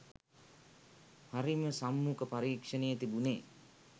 හරිම සම්මුඛ පරීක්ෂණය තිබුණේ